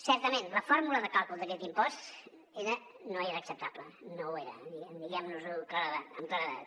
certament la fórmula de càlcul d’aquest impost no era acceptable no ho era diguem nos ho amb claredat